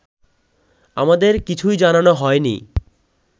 আমাদের কিছুই জানানো হয়নি